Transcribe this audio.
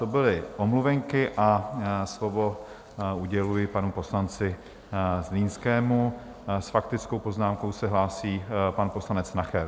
To byly omluvenky a slovo uděluji panu poslanci Zlínskému, s faktickou poznámkou se hlásí pan poslanec Nacher.